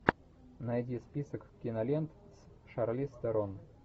найди список кинолент с шарлиз терон